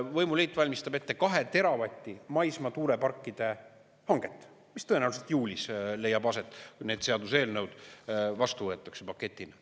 Võimuliit valmistab ette 2 teravati maismaa tuuleparkide hanget, mis tõenäoliselt juulis leiab aset, kui need seaduseelnõud vastu võetakse paketina.